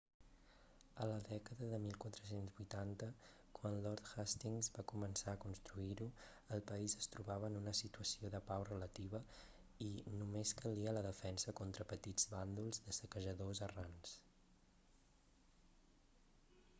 a la dècada de 1480 quan lord hastings va començar a construir-ho el país es trobava en una situació de pau relativa i només calia la defensa contra petits bàndols de saquejadors errants